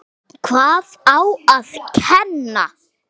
Magnea Ólafs.